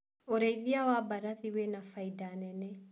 ũrĩithia wa mbarathi wĩna bainda nene.